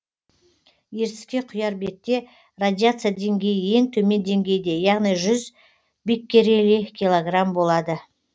ертіске құяр бетте радиация деңгейі ең төмен деңгейде яғни жүз биккерели килограмм болады